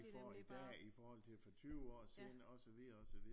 Får i dag i forhold til for tyve år siden og så videre og så videre